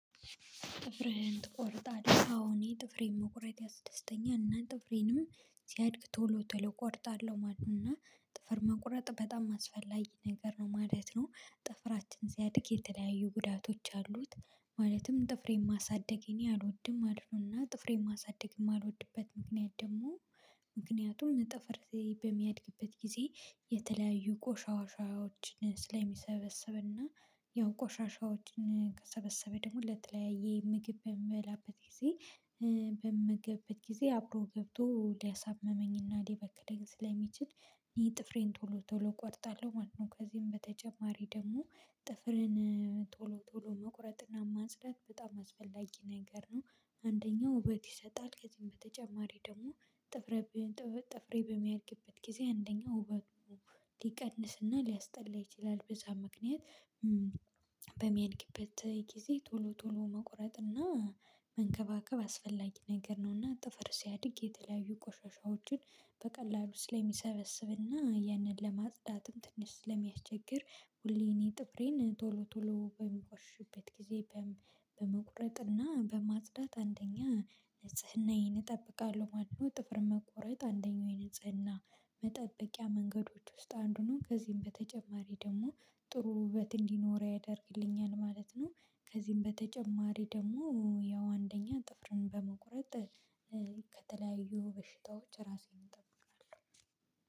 ጥፍርህን ትቆርጣለህ አዎ ጥፍሬን መቁረጥ ያስደስተኛል እና ጥፍሬንም ሲያድግ ቶሎ ቶሎ እቆርጣለሁ ማለት ነው እና ጥፍር መቁረጥ በጣም አስፈላጊ ነገር ነው ማለት ነው። ጥፍራችን ሲያድግ የተለያዩ ጉዳቶች አሉት። ማለትም ጥፍሬን ማሳደግ እኔ አልወድም ማለት ነው ጥፍሬን ማሳደግም የማልወድበት ምክንያት ደግሞ ምክንያቱም ጥፍር በሚያድግበት ጊዜ የተለያዩ ቆሻሻዎችን ስለሚሰበስብና ያው ቆሻሻዎችን ከሰበሰበ ደግሞ ለተለያየ ምግብ በምበላበት ጊዜ በምመገብበት ጊዜ አብሮ ገብቶ ሊያሳምመኝና ሊበክለኝ ስለሚችል እኔ ጥፍሬን ቶሎ ቶሎ እቆርጣለሁ ማለት ነው። ከዚህም በተጨማሪ ደግሞ ጥፍሬን ቶሎ ቶሎ መቁረጥና ማጽዳት በጣም አስፈላጊ ነገር ነው። አንደኛው ውበት ይሰጣል ከዚህም በተጨማሪ ደግሞ ጥፍርህ በሚያድግበት ጊዜ አንደኛው ውበት ሊቀንስና ሊያስጠላ ይችላል በዛ ምክንያት በሚያድግበት ጊዜ ቶሎ ቶሎ መቁረጥና እና መንከባከብ አስፈላጊ ነገር ነውና። ጥፍር ሲያድግ የተለያዩ ቆሻሻዎችን በቀላሉ ስለሚሰበስብና ያንን ለማጽዳትም ትንሽ ስለሚያስቸግር ሁሌ እኔ ጥፍሬን ቶሎ ቶሎ በሚወርሽበት ጊዜ በመቁረጥ እና በማጽዳት አንደኛ ንጽህናዬን እጠብቃለሁ ማለት ነው። ጥፍር መቆረጥ አንደኛው የንጽህና መጠበቂያ መንገዶች ውስጥ አንዱ ነው። ከዚህም በተጨማሪ ደግሞ ጥሩ ውበት እንዲኖረኝ ያደርግልኛል ማለት ነው። ከዚህም በተጨማሪ ደግሞ ያው አንደኛ ጥፍርን በመቁረጥ ከተለያዩ በሽታዎች ራሴን እጠብቃለሁ።